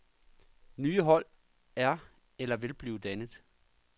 Nye hold er eller vil blive dannet.